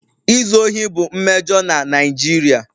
Izu ohi bụ mmejọ na Naijiria